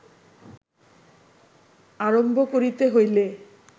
আরম্ভ করিতে হইলে